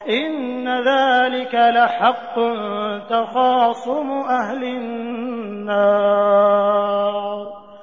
إِنَّ ذَٰلِكَ لَحَقٌّ تَخَاصُمُ أَهْلِ النَّارِ